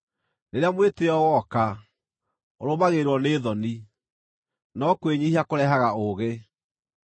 Rĩrĩa mwĩtĩĩo woka, ũrũmagĩrĩrwo nĩ thoni, no kwĩnyiihia kũrehaga ũũgĩ.